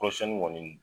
Kɔrɔsiyɛnni kɔni